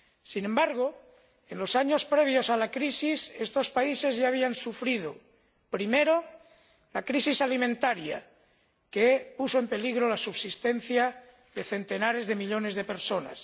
Sin embargo, en los años previos a la crisis estos países ya habían sufrido, primero, la crisis alimentaria, que puso en peligro la subsistencia de centenares de millones de personas